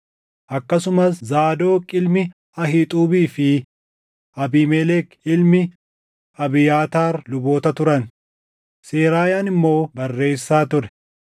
Akkasumas Zaadoq ilmi Ahiixuubii fi Abiimelek ilmi Abiyaataar luboota turan; Seraayaan immoo barreessaa ture.